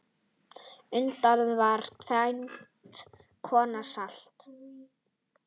Unnið var tvenns konar salt.